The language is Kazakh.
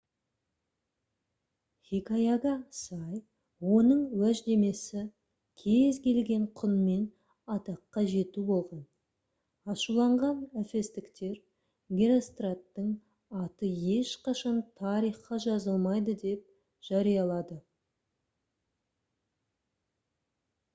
хикаяға сай оның уәждемесі кез келген құнмен атаққа жету болған ашуланған эфестіктер геростраттың аты ешқашан тарихқа жазылмайды деп жариялады